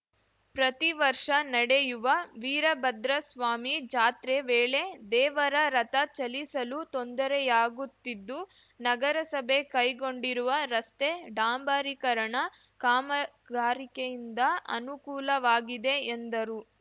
ಪ್ರತಿವರ್ಷ ನಡೆಯುವ ವೀರಭದ್ರಸ್ವಾಮಿ ಜಾತ್ರೆ ವೇಳೆ ದೇವರ ರಥ ಚಲಿಸಲು ತೊಂದರೆಯಾಗುತ್ತಿದ್ದು ನಗರಸಭೆ ಕೈಗೊಂಡಿರುವ ರಸ್ತೆ ಡಾಂಬರೀಕರಣ ಕಾಮಗಾರಿಕೆಯಿಂದ ಅನುಕೂಲವಾಗಿದೆ ಎಂದರು